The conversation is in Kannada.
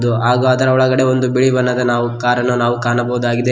ಇದು ಆ ಗಾತ್ರ ಒಳಗಡೆ ಒಂದು ಬಿಳಿ ಬಣ್ಣದ ನಾವು ಕಾರ್ ಅನ್ನು ನಾವು ಕಾಣಬಹುದಾಗಿದೆ.